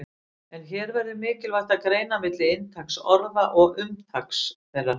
En hér verður mikilvægt að greina milli inntaks orða og umtaks þeirra.